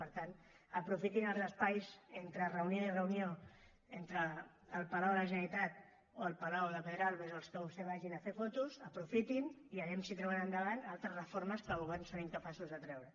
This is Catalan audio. per tant aprofitin els espais entre reunió i reunió entre el palau de la generalitat o el palau de pedralbes o als que vostès vagin a fer fotos aprofitin ho i a veure si tiren endavant altres reformes que el govern és incapaç de treure